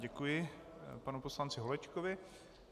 Děkuji panu poslanci Holečkovi.